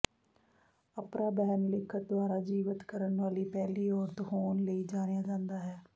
Apra Behn ਲਿਖਤ ਦੁਆਰਾ ਜੀਵਤ ਕਰਨ ਵਾਲੀ ਪਹਿਲੀ ਔਰਤ ਹੋਣ ਲਈ ਜਾਣਿਆ ਜਾਂਦਾ ਹੈ